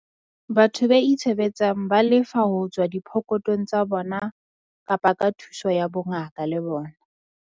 Batho be itshebetsang ba lefa ho tswa diphokothong tsa bona kapa ka thuso ya bongaka le bona.